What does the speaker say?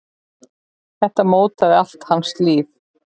Þetta mótaði allt hans líf.